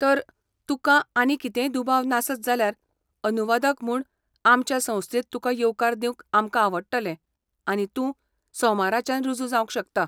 तर, तुकां आनीक कितेंय दुबाव नासत जाल्यार अनुवादक म्हूण आमच्या संस्थेंत तुका येवकार दिवंक आमकां आवडटलें आनी तूं सोमाराच्यान रुजू जावंक शकता.